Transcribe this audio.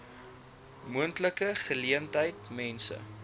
moontlike geleentheid mense